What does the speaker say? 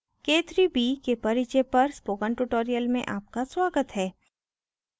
k3b के परिचय पर spoken tutorial में आपका स्वागत है